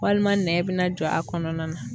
Walima nɛn be na jɔ a kɔnɔna na.